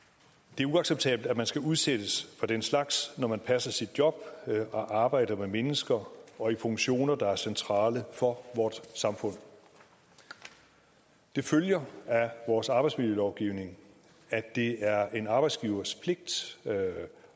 det er uacceptabelt at man skal udsættes for den slags når man passer sit job og arbejder med mennesker og i funktioner der er centrale for vort samfund det følger af vores arbejdsmiljølovgivning at det er en arbejdsgivers pligt